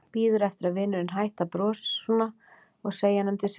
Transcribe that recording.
Bíður eftir að vinurinn hætti að brosa svona og segi honum til syndanna.